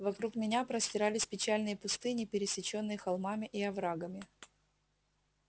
вокруг меня простирались печальные пустыни пересечённые холмами и оврагами